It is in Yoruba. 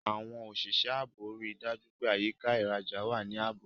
Àwọn òṣìṣẹ́ ààbò rí i dájú pé àyíká ìrajà wà ní ààbò.